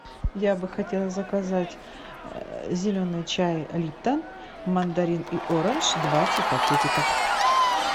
я бы хотела заказать зеленый чай липтон мандарин и оранж двадцать пакетиков